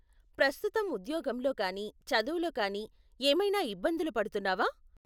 ప్రస్తుతం ఉద్యోగంలో కానీ చదువులో కానీ ఏమైనా ఇబ్బందులు పడుతున్నావా?